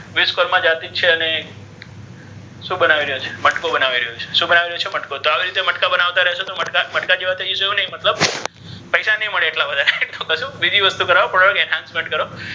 વિશ્વકર્મા જાતિ છે અને શુ બનાવિ રહ્યો છે મટકુ બનાવિ રહ્યો છે શુ બનાવી રહ્યો છે મટકુ તો આવી રીતે મટકા બનાવ્તા રહીશો તો મટકા જેવા થઇ જશો ઍવુ નહી મતલબ પૈસા નહી મળે ઍટલા બધા બીજી વસ્તુ કરાવુ ઍ કરો.